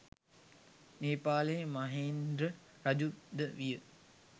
නේපාලයේ මහේන්ද්‍ර රජු ද විය